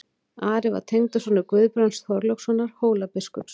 Ari var tengdasonur Guðbrands Þorlákssonar Hólabiskups.